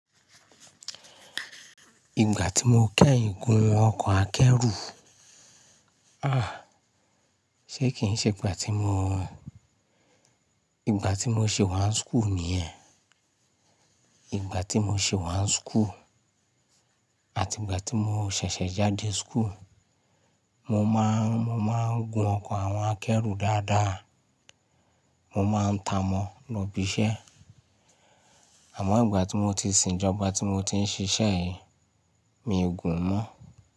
Ìgbà tí mo kẹ́yin gún ọkọ̀ akẹ́rù, ah, ṣé kì í ṣe ìgbà tí mo, ìgbà tí mo ṣe wá ń school nìyẹn. Ìgbà tí mo ṣè wá ń school àti ìgbà tí mo ṣẹ̀ṣẹ̀ jáde school, mo máa, mo máa ń gun ọkọ̀ àwọn akẹ́rù dáadáa, mo máa ń ta mọ́ lọ ibi iṣẹ́. Àmó ìgbà ti mo ti sìn ìjoba ti mo ti n sise yii, mi o gun mo.